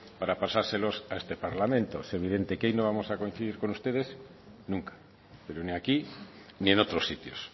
para pasárselos a este parlamento es evidente que ahí no vamos a coincidir con ustedes nunca pero ni aquí ni en otros sitios